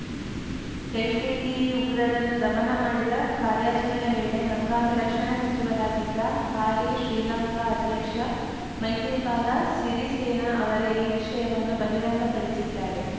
LTTE ಉಗ್ರರನ್ನು ದಮನ ಮಾಡಿದ ಕಾರ್ಯಾಚರಣೆ ವೇಳೆ ಹಂಗಾಮಿ ರಕ್ಷಣಾ ಸಚಿವರಾಗಿದ್ದ ಹಾಲಿ ಶ್ರೀಲಂಕಾ ಅಧ್ಯಕ್ಷ ಮೈತ್ರಿಪಾಲ ಸಿರಿಸೇನಾ ಅವರೇ ಈ ವಿಷಯವನ್ನು ಬಹಿರಂಗಪಡಿಸಿದ್ದಾರೆ